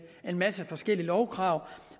en masse forskellige lovkrav